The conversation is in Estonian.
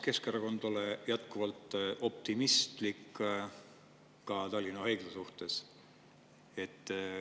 Keskerakond on ka jätkuvalt optimistlik Tallinna Haigla suhtes.